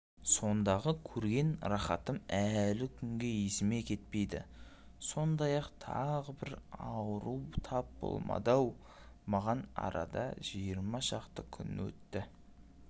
сондағы көрген рақатым әлі күнге есімнен кетпейді сондай тағы бір ауру тап болмады-ау маған арада жиырма шақты күн өтті